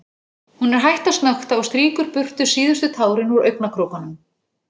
Hún er hætt að snökta og strýkur burtu síðustu tárin úr augnakrókunum.